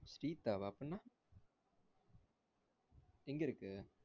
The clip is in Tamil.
cheap ஆவா அப்படினா எங்கருக்கு